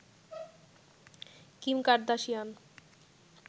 Kim Kardashian